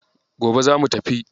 Gobe zamu tafi.